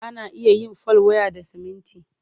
Ana iya yin fal waya da siminti.